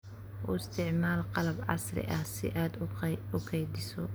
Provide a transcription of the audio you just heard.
U isticmaal qalab casri ah si aad u kaydiso.